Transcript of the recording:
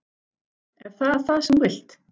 Er það það sem þú vilt?